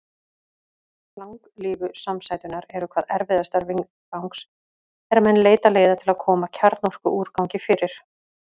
Langlífu samsæturnar eru hvað erfiðastar viðfangs er menn leita leiða til að koma kjarnorkuúrgangi fyrir.